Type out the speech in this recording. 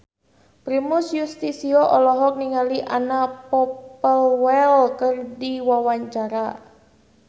Primus Yustisio olohok ningali Anna Popplewell keur diwawancara